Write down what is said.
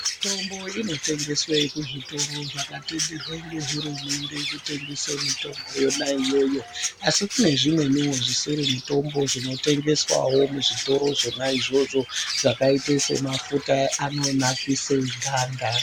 Mitombo inotengeswe kuzvitoro zvakatenderwe ngehurumende kutengese mitombo yona iyoyo. Asi kune zvimweniwo zvisiri mitombo zvinotengeswawo muzvitoro zvona izvozvo zvakaite semafuta anonakise ganda.